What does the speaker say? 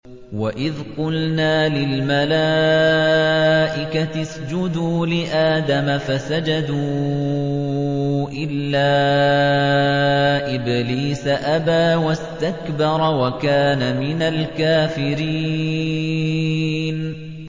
وَإِذْ قُلْنَا لِلْمَلَائِكَةِ اسْجُدُوا لِآدَمَ فَسَجَدُوا إِلَّا إِبْلِيسَ أَبَىٰ وَاسْتَكْبَرَ وَكَانَ مِنَ الْكَافِرِينَ